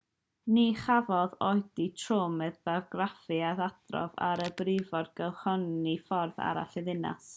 ni chafodd oedi trwm ar draffig ei adrodd ar y briffordd gylchynnol ffordd arall y ddinas